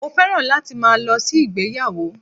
Mo fẹ́ràn láti máa lo sí ìgbéyàwó